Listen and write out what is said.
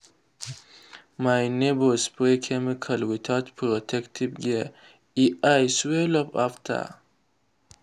my neighbour spray chemical without protective gear—e eye swell up after.